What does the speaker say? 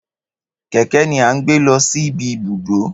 Kẹkẹ ni a n gbé lọ síbi ibùdó ns